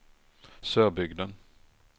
Sörbygden